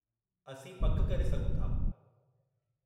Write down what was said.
असीं पकि करे सघूं था।